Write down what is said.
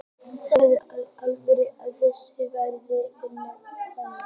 Segðu mér í alvöru hvað þú varst að gera hingað um hánótt.